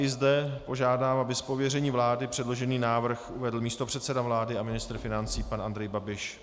I zde požádám, aby z pověření vlády předložený návrh uvedl místopředseda vlády a ministr financí pan Andrej Babiš.